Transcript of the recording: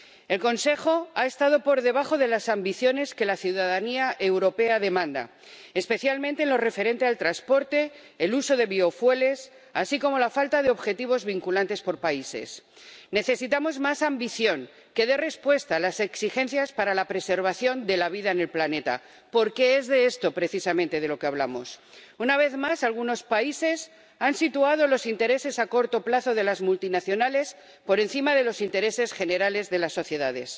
El Consejo ha estado por debajo de las ambiciones que la ciudadanía europea demanda, especialmente en lo referente al transporte, el uso de biocarburantes y la falta de objetivos vinculantes por países. Necesitamos más ambición que dé respuesta a las exigencias para la preservación de la vida en el planeta, porque es esto precisamente de lo que hablamos. Una vez más, algunos países han situado los intereses a corto plazo de las multinacionales por encima de los intereses generales de las sociedades.